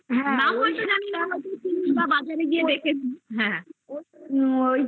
নামমাত্র জানি বাজারে গিয়ে দেখেছি হে